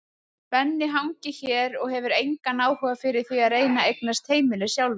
Benni hangir hér og hefur engan áhuga fyrir því að reyna að eignast heimili sjálfur.